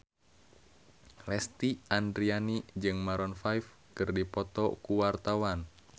Lesti Andryani jeung Maroon 5 keur dipoto ku wartawan